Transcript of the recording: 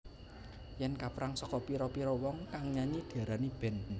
Yen kaperang saka pira pira wong kang nyanyi diarani band